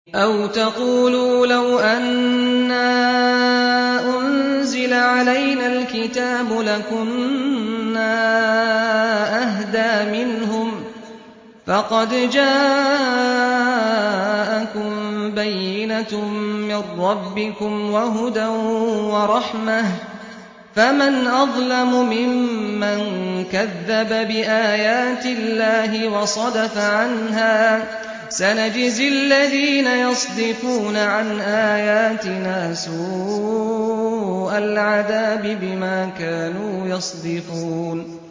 أَوْ تَقُولُوا لَوْ أَنَّا أُنزِلَ عَلَيْنَا الْكِتَابُ لَكُنَّا أَهْدَىٰ مِنْهُمْ ۚ فَقَدْ جَاءَكُم بَيِّنَةٌ مِّن رَّبِّكُمْ وَهُدًى وَرَحْمَةٌ ۚ فَمَنْ أَظْلَمُ مِمَّن كَذَّبَ بِآيَاتِ اللَّهِ وَصَدَفَ عَنْهَا ۗ سَنَجْزِي الَّذِينَ يَصْدِفُونَ عَنْ آيَاتِنَا سُوءَ الْعَذَابِ بِمَا كَانُوا يَصْدِفُونَ